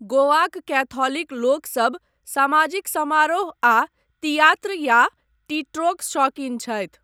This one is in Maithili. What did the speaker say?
गोवाक कैथोलिक लोकसब सामाजिक समारोह आ तियात्र या टीट्रोक शौक़ीन छथि।